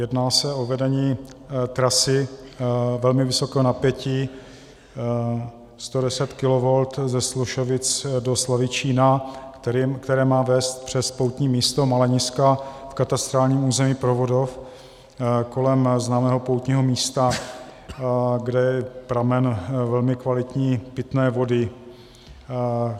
Jedná se o vedení trasy velmi vysokého napětí 110 kV ze Slušovic do Slavičína, které má vést přes poutní místo Maleniska v katastrálním území Provodov kolem známého poutního místa, kde je pramen velmi kvalitní pitné vody.